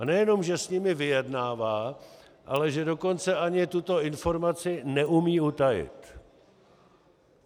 A nejenom že s nimi vyjednává, ale že dokonce ani tuto informaci neumí utajit.